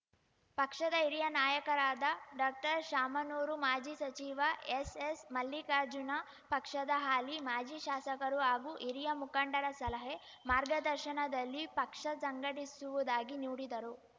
ಪಕ್ಷದ ಹಿರಿಯ ನಾಯಕರಾದ ಡಾಕ್ಟರ್ಶಾಮನೂರು ಮಾಜಿ ಸಚಿವ ಎಸ್‌ಎಸ್‌ಮಲ್ಲಿಕಾರ್ಜುನ ಪಕ್ಷದ ಹಾಲಿ ಮಾಜಿ ಶಾಸಕರು ಹಾಗೂ ಹಿರಿಯ ಮುಖಂಡರ ಸಲಹೆ ಮಾರ್ಗದರ್ಶನದಲ್ಲಿ ಪಕ್ಷ ಸಂಘಟಿಸುವುದಾಗಿ ನುಡಿದರು